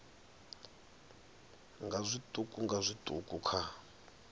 nga zwiṱuku nga zwiṱuku kha